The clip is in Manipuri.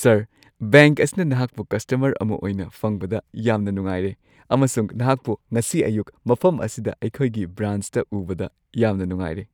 ꯁꯔ ! ꯕꯦꯡꯛ ꯑꯁꯤꯅ ꯅꯍꯥꯛꯄꯨ ꯀꯁꯇꯃꯔ ꯑꯃ ꯑꯣꯏꯅ ꯐꯪꯕꯗ ꯌꯥꯝꯅ ꯅꯨꯡꯉꯥꯏꯔꯦ ꯑꯃꯁꯨꯡ ꯅꯍꯥꯛꯄꯨ ꯉꯁꯤ ꯑꯌꯨꯛ ꯃꯐꯝ ꯑꯁꯤꯗ ꯑꯩꯈꯣꯏꯒꯤ ꯕ꯭ꯔꯥꯟꯆꯇ ꯎꯕꯗ ꯌꯥꯝꯅ ꯅꯨꯡꯉꯥꯏꯔꯦ ! (ꯕꯦꯡꯛ ꯀ꯭ꯂꯔꯀ)